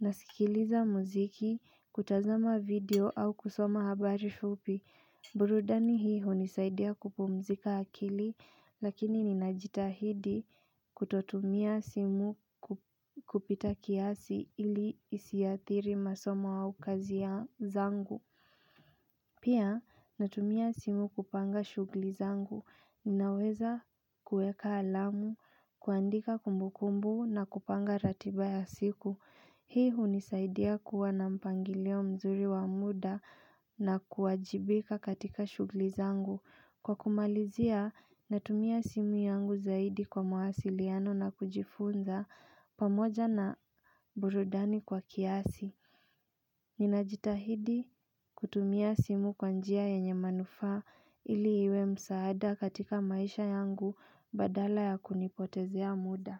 nasikiliza muziki, kutazama video au kusoma habari fupi, burudani hii hunisaidia kupumzika akili, lakini ninajitahidi kutotumia simu kupita kiasi ili isiathiri masoma aukazia zangu. Pia natumia simu kupanga shugli zangu. Ninaweza kueka alamu, kuandika kumbu kumbu na kupanga ratiba ya siku. Hii hunisaidia kuwa na mpangilio mzuri wa muda na kuajibika katika shugli zangu. Kwa kumalizia na tumia simu yangu zaidi kwa mahasiliano na kujifunza pamoja na burudani kwa kiasi Ninajitahidi kutumia simu kwanjia yenye manufaa ili iwe msaada katika maisha yangu badala ya kunipotezea muda.